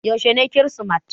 Yaushe ne Kirsimeti?